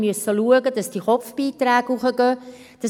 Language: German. Wir haben schauen müssen, dass die Kopfbeiträge erhöht werden.